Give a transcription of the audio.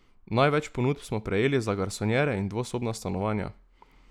Največ ponudb smo prejeli za garsonjere in dvosobna stanovanja.